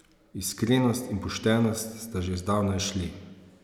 Iskrenost in poštenost sta že zdavnaj šli.